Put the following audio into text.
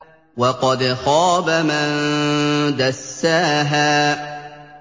وَقَدْ خَابَ مَن دَسَّاهَا